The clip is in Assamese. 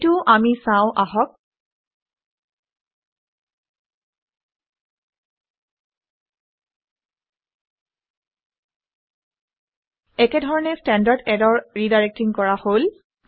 এইটোও আমি চাওঁ আহক। একেধৰণে ষ্টেণ্ডাৰ্ড ইৰৰৰ ৰিডাইৰেক্টিং কৰা হল